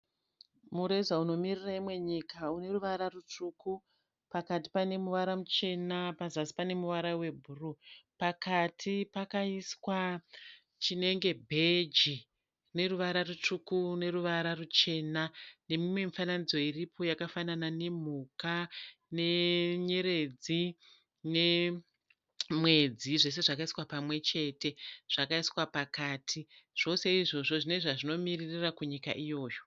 Mureza unomirira imwe nyika une ruvara rutsvuku. Pakati pane ruvara ruchena pazasi paneruvara rwebhuruwu. Pakati pakaiswa chinenge bheji chineruvara rutsvuku neruvara rwuchena , nemimwe mifananidzo iripo yakafanana nemhuka nenyeredzi nemwedzi zvese zvakaiswa pamwechete, zvakaiswa pakaiti. Zvose izvozvo zvine zvazvinomiririra kunyika iyoyo.